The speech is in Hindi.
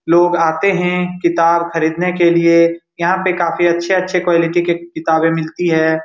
लोग आते है किताब खरीदने के लिए यहाँ पे काफी अच्छे-अच्छे क्वालिटी के किताबें मिलती है।